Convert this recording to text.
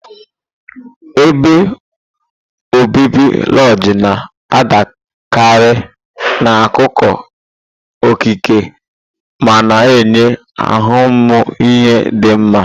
ebe obibi lojii na-adịkarị n'akụkụ okike ma na-enye ahụmịhe dị mma.